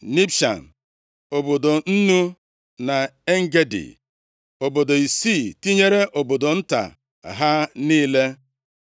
Nibshan, Obodo Nnu na En-Gedi, obodo isii tinyere obodo nta ha niile.